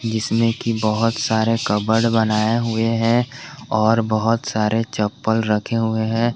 जिसने की बहुत सारे कबर्ड बनाए हुए हैं और बहुत सारे चप्पल रखे हुए हैं।